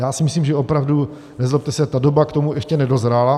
Já si myslím, že opravdu, nezlobte se, ta doba k tomu ještě nedozrála.